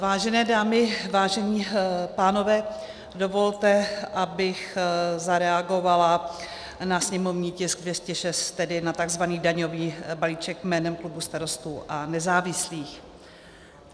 Vážené dámy, vážení pánové, dovolte, abych zareagovala na sněmovní tisk 206, tedy na tzv. daňový balíček, jménem klubu Starostů a nezávislých.